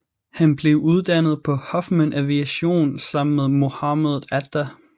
Han blev uddannet på Huffman Aviation sammen med Mohamed Atta